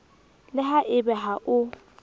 le ha ebe ha o